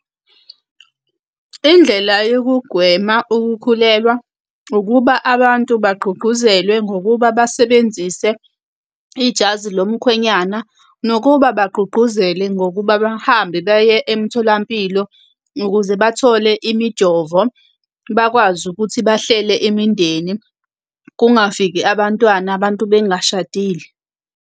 Indlela yokugwema ukukhulelwa, ukuba abantu bagqugquzelwe ngokuba basebenzise ijazi lomkhwenyane. Nokuba bagqugquzele ngokuba bahambe baye emtholampilo ukuze bathole imijovo, bakwazi ukuthi bahlele imindeni, kungafiki abantwana abantu bengashadile.